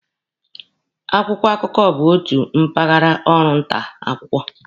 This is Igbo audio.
Akwụkwọ akụkọ bụ otu mpaghara ọrụ nta akwụkwọ.